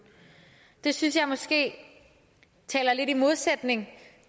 det synes jeg måske er lidt i modsætning